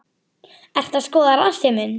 Ertu að skoða rassinn minn?